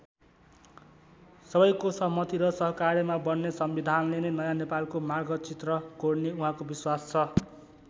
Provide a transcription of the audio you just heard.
सबैको सहमति र सहकार्यमा बन्ने संविधानले नै नयाँ नेपालको मार्गचित्र कोर्ने उहाँको विश्वास छ।